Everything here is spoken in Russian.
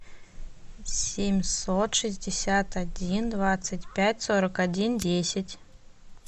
семьсот шестьдесят один двадцать пять сорок один десять